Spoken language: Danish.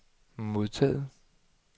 modtaget